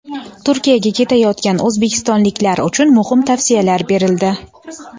Turkiyaga ketayotgan o‘zbekistonliklar uchun muhim tavsiyalar berildi.